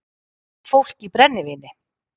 Fólk í brennivíni